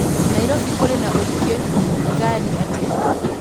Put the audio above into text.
nairobi kũrĩ na ũingĩ ngari atĩa